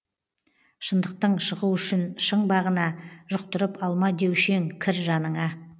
шындықтың шығу үшін шың бағына жұқтырып алма деуші ең кір жаныңа